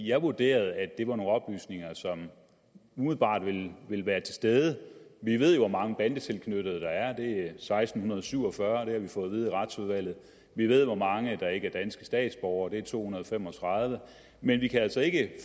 jeg vurderede at det var nogle oplysninger som umiddelbart ville være til stede vi ved hvor mange bandetilknyttede der er det seksten syv og fyrre har vi fået at vide i retsudvalget vi ved hvor mange der ikke er danske statsborgere det er to hundrede og fem og tredive men vi kan altså ikke